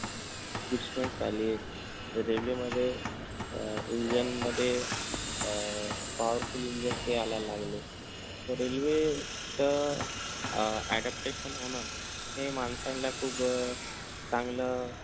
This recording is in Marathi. expert आलेत railway मध्ये अह engine मध्ये अह powerful engine ते आणायला लागले त railway त अह adaptation होणं हे माणसांला खूप अं चांगलं